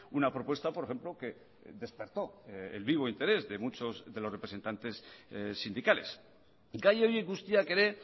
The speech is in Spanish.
una propuesta por ejemplo que despertó el vivo interés de muchos de los representantes sindicales gai horiek guztiak ere